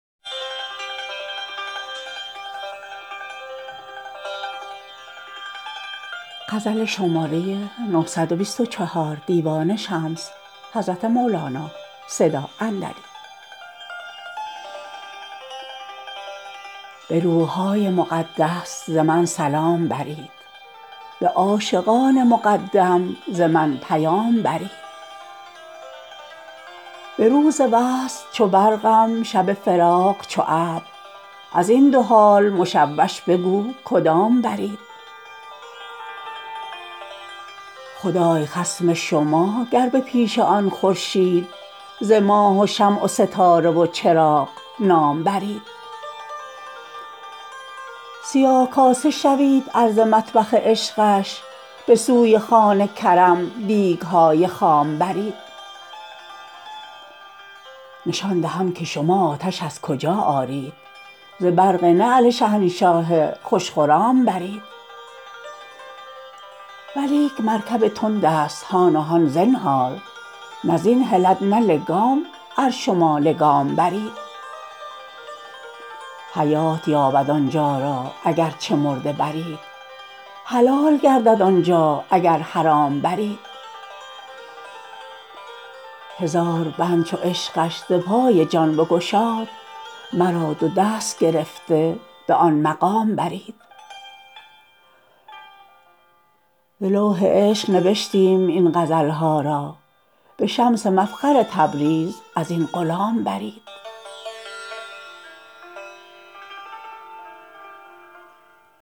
به روح های مقدس ز من سلام برید به عاشقان مقدم ز من پیام برید به روز وصل چو برقم شب فراق چو ابر از این دو حال مشوش بگو کدام برید خدای خصم شما گر به پیش آن خورشید ز ماه و شمع و ستاره و چراغ نام برید سیاه کاسه شوی ار ز مطبخ عشقش به سوی خوان کرم دیگ های خام برید نشان دهم که شما آتش از کجا آرید ز برق نعل شهنشاه خوش خرام برید ولیک مرکب تندست هان و هان زنهار نه زین هلد نه لگام ار شما لگام برید حیات یابد آن جا اگر چه مرده برید حلال گردد آن جا اگر حرام برید هزار بند چو عشقش ز پای جان بگشاد مرا دو دست گرفته به آن مقام برید ز لوح عشق نبشتیم این غزل ها را به شمس مفخر تبریز از این غلام برید